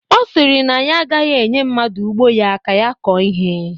Ọ sịrị na ya agaghị enye mmadụ ugbo ya ka ya kọọ ihe